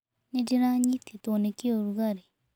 Nĩ ndĩranyitĩtwo nĩ kĩũrugarĩ.